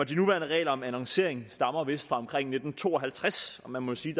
de nuværende regler om annoncering stammer vist fra omkring nitten to og halvtreds og man må jo sige